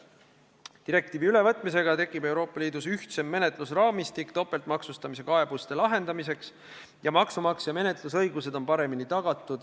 Direktiivi ülevõtmisega tekib Euroopa Liidus ühtsem menetlusraamistik topeltmaksustamise kaebuste lahendamiseks, maksumaksja menetlusõigused on paremini tagatud.